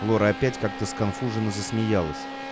лора опять как-то сконфуженно засмеялась